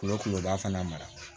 Kolo koloba fana mara